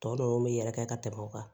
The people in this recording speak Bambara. Tɔ ninnu bɛ yɛlɛ ka tɛmɛ o kan